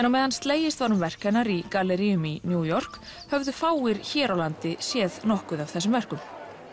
á meðan slegist var um verk hennar í galleríum í New York höfðu fáir hér á landi séð nokkuð af þessum verkum